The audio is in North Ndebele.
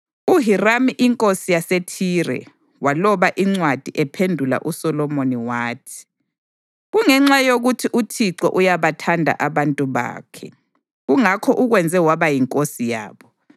UHiramu inkosi yaseThire waloba incwadi ephendula uSolomoni wathi: “Kungenxa yokuthi uThixo uyabathanda abantu bakhe, kungakho ukwenze waba yinkosi yabo.”